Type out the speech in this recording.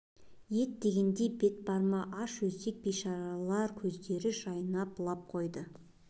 ет дегенде бет бар ма аш өзек бейшаралар көздері жайнап лап қойды